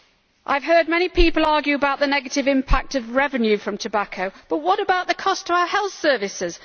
I have heard many people argue about the negative impact on revenue from tobacco, but what about the cost to our health services?